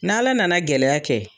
N' Ala nana gɛlɛya kɛ.